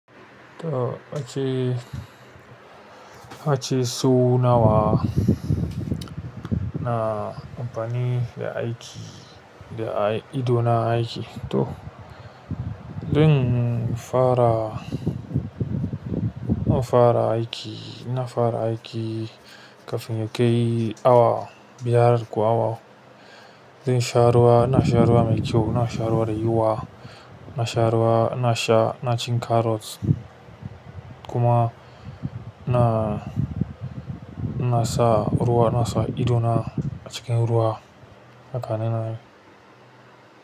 To ace, ace su nawa na ampani da aiki, da ai idona aiki. To, zan fara, na fara aiki, na fara aiki kafin ya kai awa biyar ko awa. Zai sha ruwa, na sha ruwa mai kyau, na sha ruwa da yuwa, na sha ruwa, na sha, na cin karrot kuma ina, ina sa ruwa, ina sa idona a cikin ruwa haka nanai.